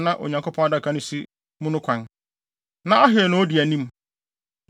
a na Onyankopɔn Adaka no si mu no kwan. Na Ahio na odi anim.